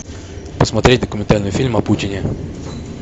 посмотреть документальный фильм о путине